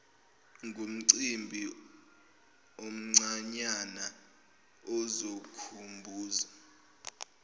ngumcimbi omncanyana ozokhumbuza